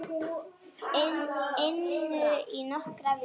inu í nokkrar vikur.